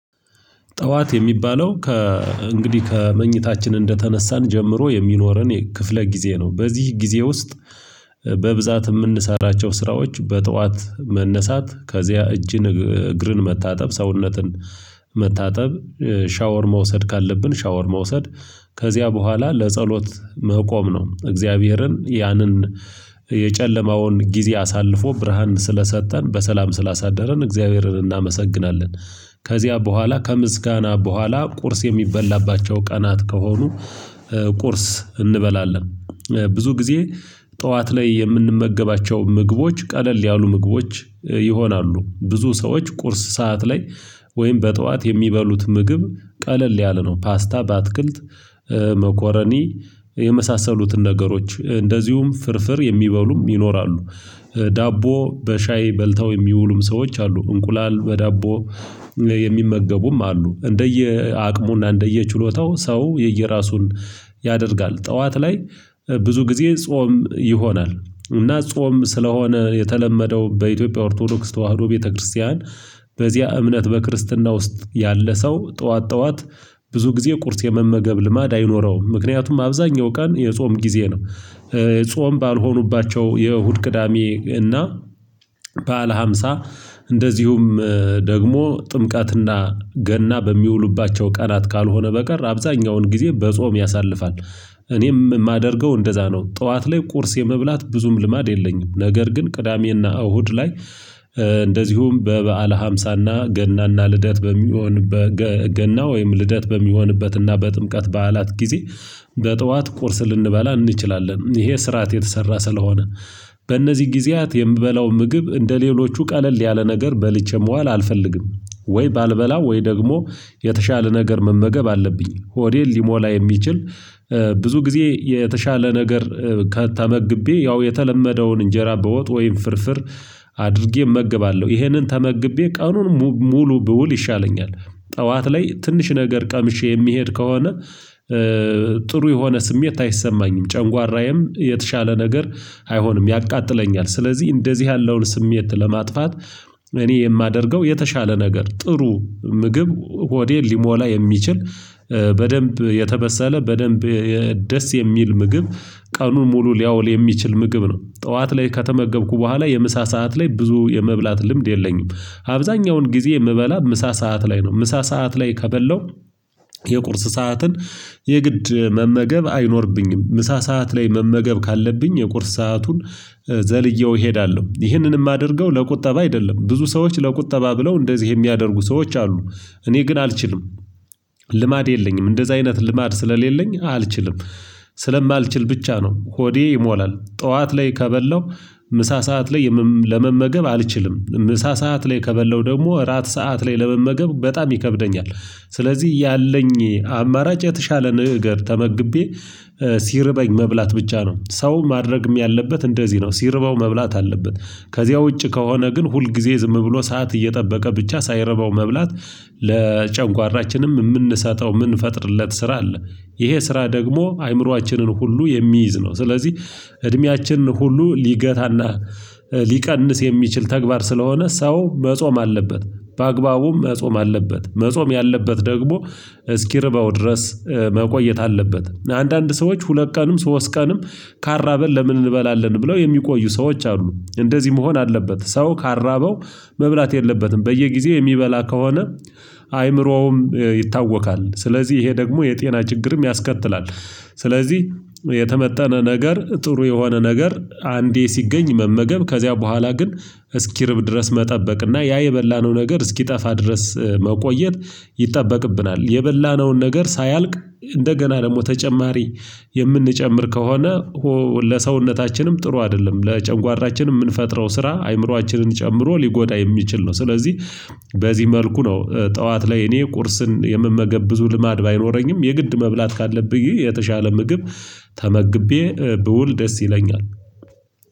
ጠዋት የሚባለው ከ እንግዲህ ከመኝታችን እንደተነሳን ጀምሮ የሚኖረን ክፍለ ጊዜ ነው። በዚህ ጊዜ ውስጥ በብዛት የምንሰራቸው ስራዎች በጠዋት መነሳት ከዚያ እጅን እግርን መታጠብ ሰውነትን መታጠብ ሻወር መውሰድ ካለብን ሻወር መውሰድ ከዚያ በኋላ ለጸሎት መቆም ነው። እግዚአብሔርን ያንን የጨለማውን ጊዜ አሳልፎ ብርሃን ስለሰጠን በሰላም ስላሳደረን እግዚአብሔርን እናመሰግናለን። ከዚያ በኋላ ከምስጋና በኋላ ቁርስ የሚበላባቸው ቀናት ከሆኑ ቁርስ እንበላለን። ብዙ ጊዜ ጠዋት ላይ የምንመገባቸው ምግቦች ቀለል ያሉ ምግቦች ይሆናሉ። ብዙ ሰዎች ቁርስ ሰዓት ላይ ወይም በጠዋት የሚበሉት ምግብ ቀለል ያለ ነው። ፓስታ በአትክልት መኮረኒ የመሳሰሉትን ነገሮች እንደዚሁም ፍርፍር የሚበሉም ይኖራሉ። ዳቦ በሻይ በልተው የሚውሉም ሰዎች አሉ። እንቁላል በዳቦ የሚመገቡም አሉ። እንደየ አቅሙና እንደየ ችሎታው ሰው የየእራሱን ያደርጋል። ጠዋት ላይ ብዙ ጊዜ ጾም ይሆናል። እና ጾም ስለሆነ የተለመደው በኢትዮጵያ ኦርቶዶክስ ተዋህዶ ቤተክርስቲያን በዚያ እምነት በክርስትና ውስጥ ያለ ሰው ጠዋት ጠዋት ብዙ ጊዜ ቁርስ የመመገብ ልማድ አይኖረውም። ምክንያቱም አብዛኛው ቀን የጾም ጊዜ ነው። ጾም ባልሆኑባቸው የእሁድ ቅዳሜ እና ባዕለ ሃምሳ እንደዚሁም ደግሞ ጥምቀትና ገና በሚውሉባቸው ቀናት ካልሆነ በቀር አብዛኛውን ጊዜ በጾም ያሳልፋል። እኔም የማደርገው እንደዛ ነው ጠዋት ላይ ቁርስ የመብላት ብዙም ልማድ የለኝም። ነገር ግን ቅዳሜና እሁድ ላይ እንደዚሁም በበዓለ ሀምሳና ገና እና ልደት በሚሆንበት ገና ወይም ልደት በሚሆንበትና በጥምቀት በዓላት ጊዜ በጠዋት ቁርስ ልንበላ እንችላለን። ይሄ ስርዓት የተሰራ ስለሆነ በእነዚህ ጊዜያት የምበላው ምግብ እንደሌሎቹ ቀለል ያለ ነገር በልቼ መዋል አልፈልግም። ወይ ባልበላ ወይ ደግሞ የተሻለ ነገር መመገብ አለብኝ። ሆዴን ሊሞላ የሚችል ብዙ ጊዜ የተሻለ ነገር ከ ተመግቤ ያው የተለመደውን እንጀራ በወጥ ወይም ፍርፍር አድርጌ እመገባለሁ። ይሄንን ተመግቤ ቀኑን ሙሉ ብውል ይሻለኛል። ጠዋት ላይ ትንሽ ነገር ቀምሼ የሚሄድ ከሆነ ጥሩ የሆነ ስሜት አይሰማኝም። ጨንጓራዬም የተሻለ ነገር አይሆንም ያቃጥለኛል። ስለዚህ እንደዚህ ያለውን ስሜት ለማጥፋት እኔ የማደርገው የተሻለ ነገር ጥሩ ምግብ ሆዴን ሊሞላ የሚችል በደንብ የተበሰለ በደንብ ደስ የሚል ምግብ ቀኑን ሙሉ ሊያውል የሚችል ምግብ ነው። ጠዋት ላይ ከተመገብኩ በኋላ የምሳ ሰዓት ላይ ብዙ የመብላት ልምድ የለኝም። አብዛኛውን ጊዜ የምበላ ምሳ ሰዓት ላይ ነው። ምሳ ሰዓት ላይ ከበላሁ የቁርስ ሰዓትን የግድ መመገብ አይኖርብኝም። ምሳ ሰዓት ላይ መመገብ ካለብኝ የቁርስ ሰአቱን ዘልየው እሄዳለሁ። ይህንንም የማደርገው ለቁጠባ አይደለም ብዙ ሰዎች ለቁጠባ ብለው እንደዚህ የሚያደርጉ ሰዎች አሉ። እኔ ግን አልችልም። ልማድ የለኝም እንደዛ አይነት ልማድ ስለሌለኝ አልችልም። ስለማልችል ብቻ ነው። ሆዴ ይሞላል ጠዋት ላይ ከበላሁ ምሳ ሰዓት ላይ ለመመገብ አልችልም ምሳ ሰዓት ላይ ከበለው ደግሞ እራት ሰዓት ላይ ለመመገብ በጣም ይከብደኛል። ስለዚህ ያለኝ አማራጭ የተሻለ ነገር ተመግቤ ሲርበኝ መብላት ብቻ ነው። ሰው ማድረግም ያለበት እንደዚህ ነው። ሲርበው መብላት አለበት። ከዚያ ውጭ ከሆነ ግን ሁል ጊዜ ዝም ብሎ ሰዓት እየጠበቀ ብቻ ሳይረባው መብላት ለጨንጓራችንም የምንሰጠው የምንፈጥርለት ስራ አለ። ይሄ ስራ ደግሞ አእምሮአችንን ሁሉ የሚይዝ ነው። ስለዚህ እድሜያችን ሁሉ ሊገታና ሊቀንስ የሚችል ተግባር ስለሆነ ሰው መጾም አለበት። በአግባቡም መጾም አለበት መጾም ያለበት ደግሞ እስኪርበው ድረስ መቆየት አለበት። አንዳንድ ሰዎች ሁለት ቀንም ሶስት ቀንም ካልራበን ለምን እንበላለን? ብለው የሚቆዩ ሰዎች አሉ። እንደዚህ መሆን አለበት። ሰው ካልራበው መብላት የለበትም። በየጊዜው የሚበላ ከሆነ አይምሮውም ይታወካል። ስለዚህ ይሄ ደግሞ የጤና ችግርም ያስከትላል። ስለዚህ የተመጠነ ነገር ጥሩ የሆነ ነገር አንዴ ሲገኝ መመገብ ከዚያ በኋላ ግን እስኪርብ ድረስ መጠበቅና ያ የበላነው ነገር እስኪጠፋ ድረስ መቆየት ይጠበቅብናል። የበላነውን ነገር ሳያልቅ እንደገና ደግሞ ተጨማሪ የምንጨምር ከሆነ ለሰውነታችንም ጥሩ አይደለም። ለጨንጓራችን የምንፈጥረው ስራ አእምሮአችንን ጨምሮ ሊጎዳ የሚችል ነው። ስለዚህ በዚህ መልኩ ነው። ጠዋት ላይ እኔ ቁርስን የምመገብ ብዙ ልማድ ባይኖረኝም የግድ መብላት ካለብኝ የተሻለ ምግብ ተመግቤ ብውል ደስ ይለኛል